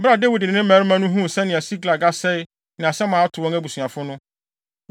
Bere a Dawid ne ne mmarima no huu sɛnea Siklag asɛe ne asɛm a ato wɔn abusuafo no,